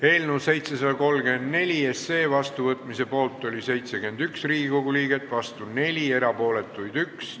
Hääletustulemused Eelnõu 734 seadusena vastuvõtmise poolt oli 71 Riigikogu liiget, vastu 4, erapooletuid 1.